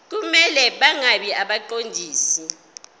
kumele bangabi ngabaqondisi